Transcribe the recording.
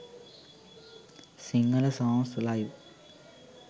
sinhala songs live